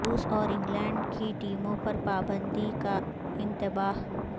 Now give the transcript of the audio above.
روس اور انگلینڈ کی ٹیموں پر پابندی کا انتباہ